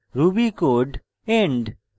ruby code end